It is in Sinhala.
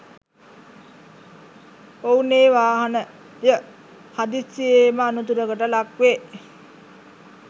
ඔවුනේ වාහනය හදිසියේම අනතුරකට ලක් වේ.